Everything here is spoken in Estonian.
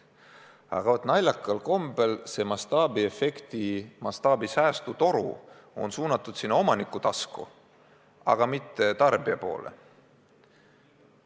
Aga vaat naljakal kombel on mastaabiefekti, mastaabi abil säästmise toru suunatud omaniku tasku, mitte tarbija poole.